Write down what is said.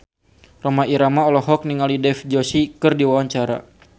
Rhoma Irama olohok ningali Dev Joshi keur diwawancara